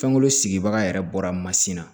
Fɛnko sigibaga yɛrɛ bɔra mansin na